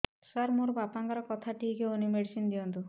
ସାର ମୋର ବାପାଙ୍କର କଥା ଠିକ ହଉନି ମେଡିସିନ ଦିଅନ୍ତୁ